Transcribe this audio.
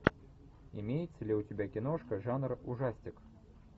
имеется ли у тебя киношка жанр ужастик